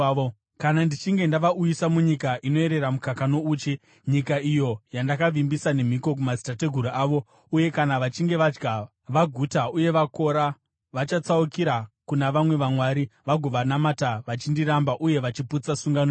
Kana ndichinge ndavauyisa munyika inoerera mukaka nouchi, nyika iyo yandakavimbisa nemhiko kumadzitateguru avo, uye kana vachinge vadya vaguta uye vakora, vachatsaukira kuna vamwe vamwari vagovanamata, vachindiramba uye vachiputsa sungano yangu.